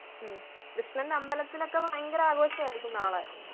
ഉം കൃഷ്ണൻ്റെ അമ്പലത്തിലൊക്കെ ഭയങ്കര ആഘോഷം ആയിരിക്കും നാളെ